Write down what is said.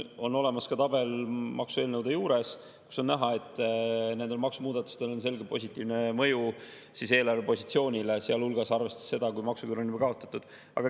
On olemas ka tabel maksueelnõude juures, kus on näha, et nendel maksumuudatustel on selge positiivne mõju eelarvepositsioonile, sealhulgas arvestades seda, kui maksuküür on juba kaotatud.